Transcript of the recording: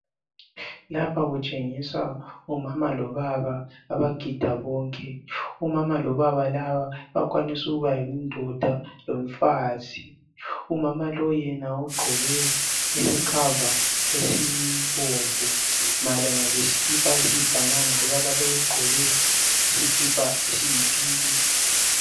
Lapha kutshengiswa omama lobaba abagida bonke omama lobaba laba kuyakwanisa ukuba yindoda lomfazi umama lo yena ugqoke isikhava esibomvu malana lesikipa esiyi banana lobaba lowu ugqoke isikipa esiyi pink